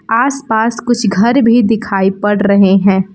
आस पास कुछ घर भी दिखाई पड़ रहे हैं।